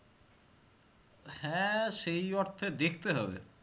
হ্যাঁ সেই অর্থে দেখতে হবে